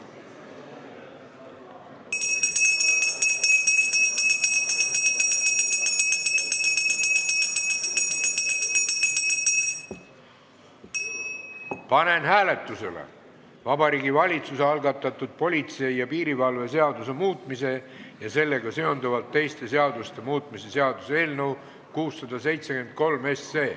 Panen hääletusele Vabariigi Valitsuse algatatud politsei ja piirivalve seaduse muutmise ja sellega seonduvalt teiste seaduste muutmise seaduse eelnõu 673.